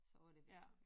Så var det dét ja